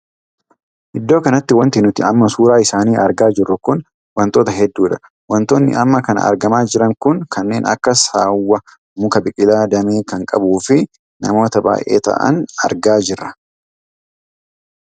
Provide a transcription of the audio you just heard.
Iddoo kanatti wanti nuti amma suuraa isaanii argaa jirru kun wantoota heddudha. wantoonni amma kana argamaa jiran kun kanneen akka saawwa, muka biqilaa damee kan qabuu fi namoota baay'ee taa'an argaa jirra.